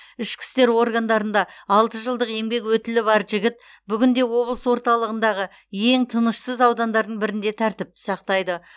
ішкі істер органдарында алты жылдық еңбек өтілі бар жігіт бүгінде облыс орталығындағы ең тынышсыз аудандардың бірінде тәртіпті сақтайды